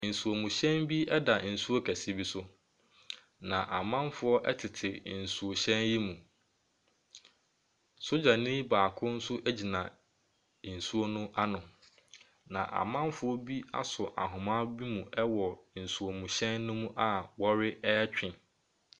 Nsuomhyɛn bi da nsuo kɛseɛ bi so, na amanfoɔ tete nsuhyɛn yi mu. Sogyani baako nso gyina nsuo no ano. Na amanfoɔ bi asɔ ahoma bi mu wɔ nsuomhyɛn no mu a wɔretwe.